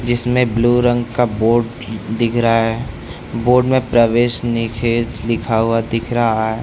इसमें ब्लू रंग का बोर्ड दिख रहा है बोर्ड में प्रवेश निषेध लिखा हुआ दिखा रहा है।